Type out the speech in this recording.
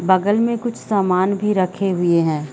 बगल में कुछ सामान भी रखे हुये है।